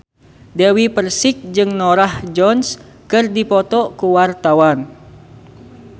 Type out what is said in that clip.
Dewi Persik jeung Norah Jones keur dipoto ku wartawan